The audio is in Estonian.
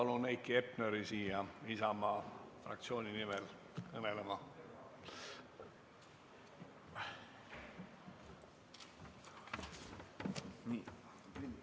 Nüüd palun Heiki Hepneri siia Isamaa fraktsiooni nimel kõnelema!